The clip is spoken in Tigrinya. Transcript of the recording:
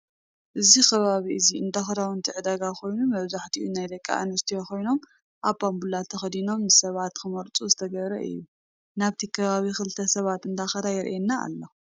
እዚ ከባቢ እዚ እንዳክዳውነቲ ዕዳጋ ኮይኑ መብዛሕቲኦም ናይ ደቂ ኣንሰትዮ ኮይኖም ኣብ ባንቡላ ተከዲኖም ንሰባት ክመርፅዎ ዝተገበረ እዩ። ናብቲ ከባቢ ክልተ ሰባት እንዳከዳ የረኣና ኣሎ።